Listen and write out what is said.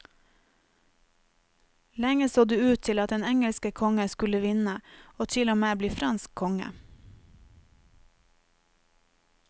Lenge så det ut til at den engelske kongen skulle vinne og til og med bli fransk konge.